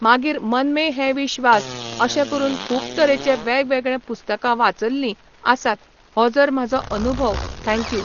मागीर मन में है विस्वास अशे करून खूब तरेचे वेगवेगळे पुस्तकां वाचल्लीं आसात हो जर म्हाजो अनुभव थँक्यू